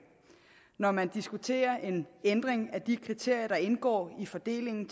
når man diskuterer en ændring af de kriterier der indgår i fordelingen